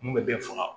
Mun bɛ bɛɛ faga